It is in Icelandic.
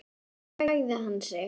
Svo lagði hann sig.